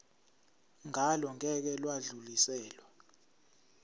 ngalo ngeke lwadluliselwa